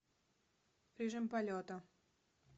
режим полета